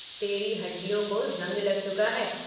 तेरी हड्डियों को ज़ंग लग चुका है।